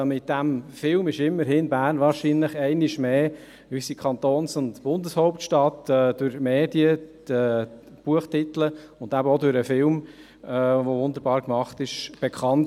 Mit diesem Film wurde Bern – unsere Kantons- und Bundeshauptstadt – wahrscheinlich einmal mehr durch die Medien, durch das Buch und den wunderbar gemachten Film bekannt.